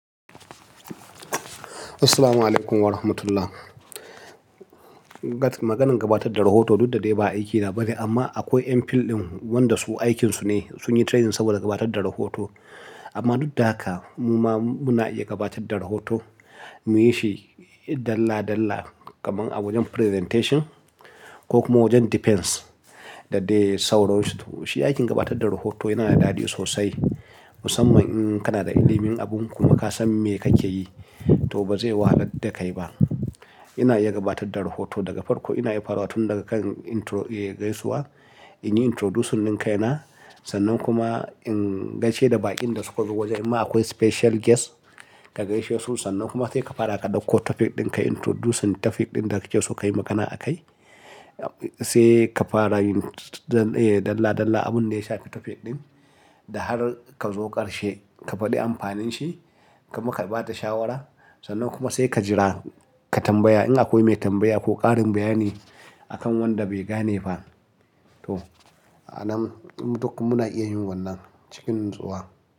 Assalamualaikum warahmatullah. Gat-- maganin gabatar da rahoto duk da dai ba aikina ba ne, amma akwai yan field ɗin wanda su aikinsu ne, sun yi training saboda gabatar da rahoto. Amma duk da haka, mu ma muna iya gabatar da rahoto. Muyi shi dalla dalla, kamar a wajen presentation ko kuma wajen defence daddai sauransu. To shi aikin gabatar da rahoto yana da daɗi sosai, musamman in kana da ilimin abun kuma ka san me kake yi to ba zai wahalar da kai ba. Ina iya gabatar da rahoto daga farko, ina iya farawa tun daga kan intro, eh, gaisuwa. In yi introducing din kaina, sannan kuma in gaishe da baƙin da suka zo wajen, imma akwai special guest ka gaishe su. Sannan kuma sai ka fara ka ɗauko topic ɗin ka introduce topic ɗin da kake so ka yi magana a kai. Sai ka fara yin, eh, dalla dalla abun da ya shafi topic ɗin da har ka zo ƙarshe, ka faɗi amfanin shi, kuma ka ba da shawara. Sannan kuma sai ka jira ka tambaya in akwai mai tambaya ko ƙarin bayani akan wanda bai gane ba. To, a nan mu duk mu na iya yin wannan cikin natsuwa.